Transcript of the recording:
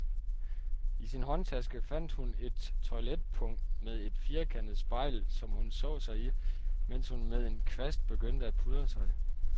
I sin håndtaske fandt hun et toiletpung med et firkantet spejl, som hun så sig i, mens hun med en kvast begyndte at pudre sig.